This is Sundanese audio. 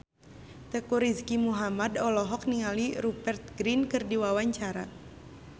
Teuku Rizky Muhammad olohok ningali Rupert Grin keur diwawancara